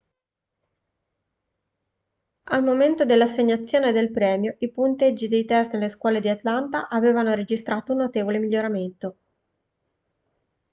al momento dell'assegnazione del premio i punteggi dei test nelle scuole di atlanta avevano registrato un notevole miglioramento